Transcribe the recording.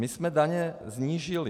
My jsme daně snížili.